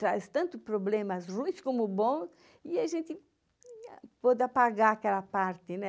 Traz tanto problemas, ruins como bons, e a gente pôde apagar aquela parte, né?